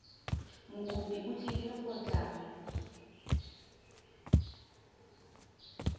mokopi o tlile go tla